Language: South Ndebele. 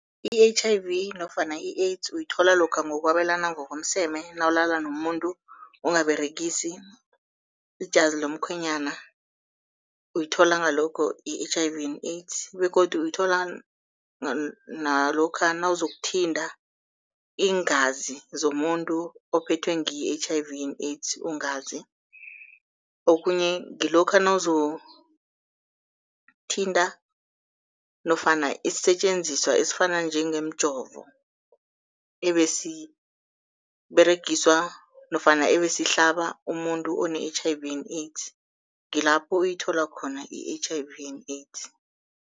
I-H_I_V nofana i-AIDS uyithola lokha ngokwabelana ngokomseme nawulala nomuntu ungaberegisi ijazi lomkhwenyana, uyithola ngalokho i-H_I_V and AIDS. Begodu uyithola nalokha nawuzokuthinta iingazi zomuntu ophethwe ngiyo i-H_I_V and AIDS ungazi. Okhunye ngilokha nawuzokuthinta nofana isisetjenziswa esifana njengemjovo, ebesiberegiswa nofana ebesihlaba umuntu one-H_I_V and AIDS ngilapho uyithola khona i-H_I_V and AIDS.